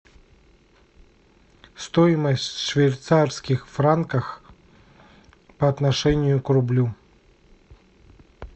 стоимость швейцарских франков по отношению к рублю